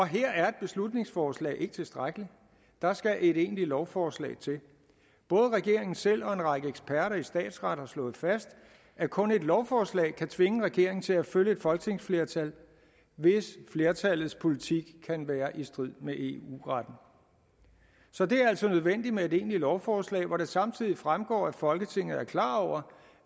her er et beslutningsforslag ikke tilstrækkeligt der skal et egentligt lovforslag til både regeringen selv og en række eksperter i statsret har slået fast at kun et lovforslag kan tvinge regeringen til at følge et folketingsflertal hvis flertallets politik kan være i strid med eu retten så det er altså nødvendigt med et egentligt lovforslag hvor det samtidig fremgår at folketinget er klar over